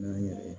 N'an yɛrɛ